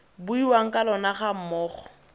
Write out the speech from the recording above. buiwang ka lona ga mmogo